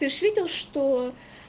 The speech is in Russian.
ты же видел что